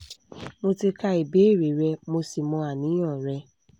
mo ti kà ìbéèrè rẹ mo sì mọ àníyàn rẹ